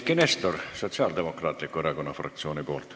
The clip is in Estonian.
Eiki Nestor Sotsiaaldemokraatliku Erakonna fraktsiooni nimel.